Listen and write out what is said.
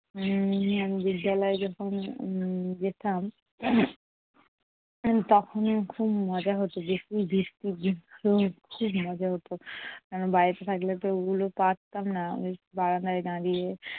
উম বিদ্যালয়ে যখন উম যেতাম তখন খুব মজা হতো খুব মজা হতো। কারণ বাড়িতে থাকলে তো ওগুলো পারতাম না। বারান্দায় দাঁড়িয়ে